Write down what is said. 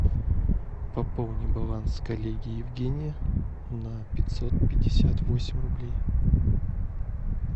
пополни баланс коллеги евгения на пятьсот пятьдесят восемь рублей